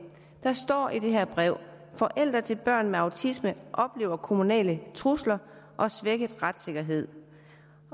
der står i det her brev forældre til børn med autisme oplever kommunale trusler og svækket retssikkerhed